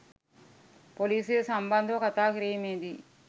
පොලිසිය සම්බන්ධව කතා කිරීමේදී